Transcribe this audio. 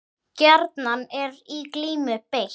Gjarnan er í glímu beitt.